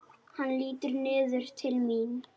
Hann lítur niður til mín.